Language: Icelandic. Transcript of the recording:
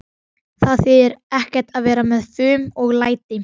Það þýðir ekkert að vera með fum og læti.